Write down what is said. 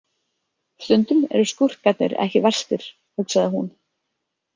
Stundum eru skúrkarnir ekki verstir, hugsaði hún.